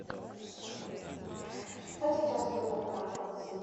что сейчас идет по каналу карусель